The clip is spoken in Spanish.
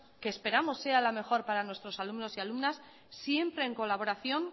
que esperamos sea la mejor para nuestros alumnos y alumnas siempre en colaboración